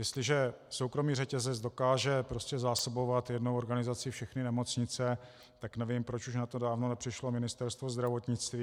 Jestliže soukromý řetězec dokáže prostě zásobovat jednou organizací všechny nemocnice, tak nevím, proč už na to dávno nepřišlo Ministerstvo zdravotnictví.